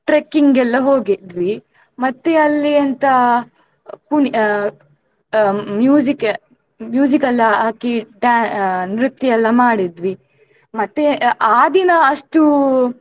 Trekking ಎಲ್ಲ ಹೋಗಿದ್ವಿ ಮತ್ತೆ ಅಲ್ಲಿ ಎಂತ ಪುನ್~ ಆ music music ಎಲ್ಲಾ ಹಾಕಿ ಡ್ಯಾ~ ಆ ನೃತ್ಯ ಎಲ್ಲ ಮಾಡಿದ್ವಿ ಮತ್ತೆ ಆ ದಿನ ಅಷ್ಟು.